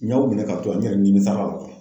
N y'aw minɛn ka to yan n yɛrɛ nimisara.